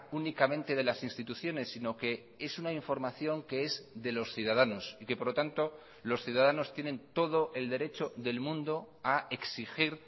únicamente de las instituciones sino que es una información que es de los ciudadanos y que por lo tanto los ciudadanos tienen todo el derecho del mundo a exigir